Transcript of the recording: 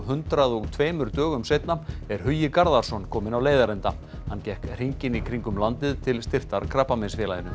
hundrað og tveimur dögum seinna er Hugi Garðarsson kominn á leiðarenda hann gekk hringinn í kringum landið til styrktar Krabbameinsfélaginu